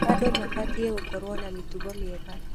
Andũ mabatiĩ gũkorwo na mĩtugo mĩega.